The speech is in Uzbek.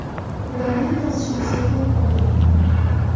Ularning yozishmasini ko‘rib qolganman.